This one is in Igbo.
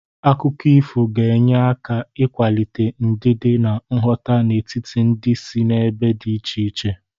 Akụkọ ifo ga-enye aka ịkwalite ndidi na nghọta n'etiti ndị si n'ebe dị iche iche.